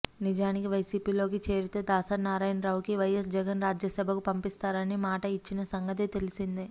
నిజానికి వైసీపీలోకి చేరితే దాసరి నారాయణరావుకి వైయస్ జగన్ రాజ్యసభకు పంపిస్తారని మాట ఇచ్చిన సంగతి తెలిసిందే